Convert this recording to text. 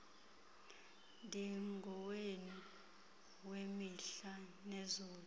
ndingowenu wemihla nezolo